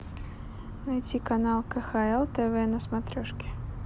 найти канал кхл тв на смотрешке